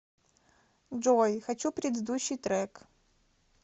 джой хочу предыдущий трек